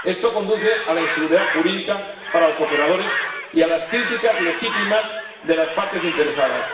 Esto conduce a inseguridad jurídica para los operadores y a las críticas legítimas de las partes interesadas.